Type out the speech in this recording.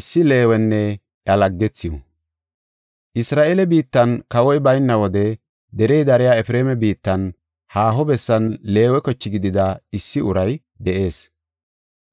Isra7eele biittan kawoy bayna wode derey dariya Efreema biittan, haaho bessan, Leewe koche gidida issi uray de7ees.